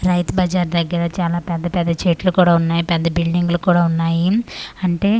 రైతు బజార్ దగ్గర చాలా పెద్ద పెద్ద చెట్లు కూడా ఉన్నాయ్ పెద్ద బిల్డింగ్లు కూడా ఉన్నాయి అంటే--